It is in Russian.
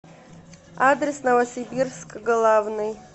адрес новосибирск главный